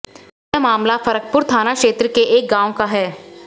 यह मामला फरकपुर थाना क्षेत्र के एक गांव का है